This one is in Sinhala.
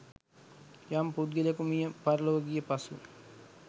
යම් පුද්ගලයෙකු මිය පරලොව ගිය පසු